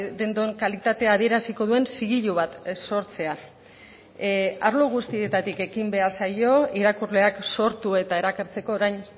dendon kalitatea adieraziko duen zigilu bat sortzea arlo guztietatik ekin behar zaio irakurleak sortu eta erakartzeko orain